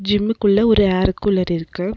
ஜிம்முக்குள்ள ஒரு அர் கூலர் இருக்கு.